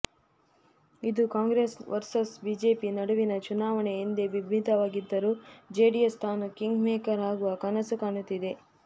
ಇದು Congress versus BJP ನಡುವಿನ ಚುನಾವಣೆ ಎಂದೇ ಬಿಂಬಿತವಾಗಿದ್ದರೂ ಜೆಡಿಎಸ್ ತಾನು ಕಿಂಗ್ ಮೇಕರ್ ಆಗುವ ಕನಸು ಕಾಣುತ್ತಿದೆ